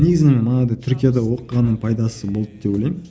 негізі мен манағыдай түркияда оқығанның пайдасы болды деп ойлаймын